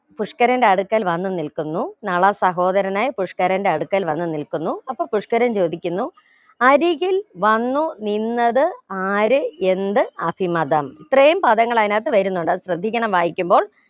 പുഷ്‌കരന്റെ അടുക്കൽ വന്നു നിൽക്കുന്നു നള സഹോദരനായി പുഷ്‌കരന്റെ അടുക്കൽ വന്നു നിൽക്കുന്നു അപ്പൊ പുഷ്ക്കരൻ ചോദിക്കുന്നു അരികിൽ വന്നു നിന്നത് ആരെ എന്ത് അസിമതം ഇത്രയും പദങ്ങൾ ആയിനകത്ത് വരുന്നുണ്ട് അത് ശ്രദ്ധിക്കണം വായിക്കുമ്പോൾ